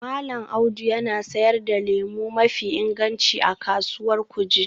Mallam Audu yana sayar da lemu mafi inganci a Kasuwar Kuje